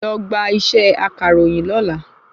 Lọ gba isẹ́ akàròyìn lọ́la